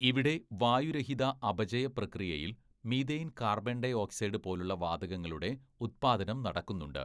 ഇവിടെ വായുരഹിത അപചയ പ്രക്രിയയിൽ മീഥെയ്ൻ കാർബൺ ഡൈ ഓക്സൈഡ് പോലുള്ള വാതകങ്ങളുടെ ഉത്പാദനം നടക്കുന്നുണ്ട്.